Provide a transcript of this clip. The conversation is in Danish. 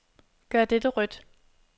Gør dette rødt.